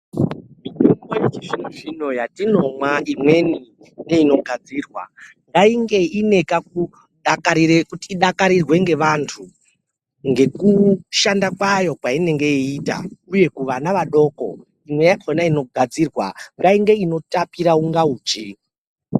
Mitombo yechizvinozvino yatinomwa imweni neinogadzirwa ngainge ine kakudakarire idakarirwe ngevantu ngeku sjanda kwayo kwainoita uye kuvana vadoko imwe yacho inogadzirwa ngainge inotapira kunga uchi.